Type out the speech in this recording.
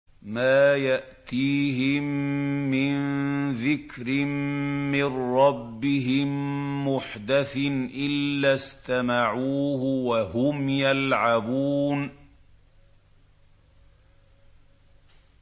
مَا يَأْتِيهِم مِّن ذِكْرٍ مِّن رَّبِّهِم مُّحْدَثٍ إِلَّا اسْتَمَعُوهُ وَهُمْ يَلْعَبُونَ